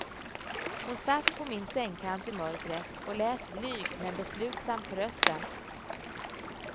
Hon satt på min sängkant i mörkret och lät blyg men beslutsam på rösten.